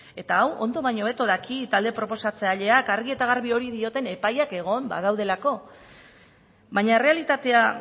eta hau ondo baino hobeto daki talde proposatzaileak argi eta garbi hori dioten epailak egon badaudelako baina errealitatea